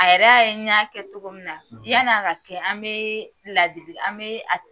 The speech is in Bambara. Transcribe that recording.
A yɛrɛ ya ye n y'a kɛ cogo min na , yani a ka kɛ an be ladili